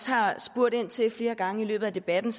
har spurgt ind til flere gange i løbet af debatten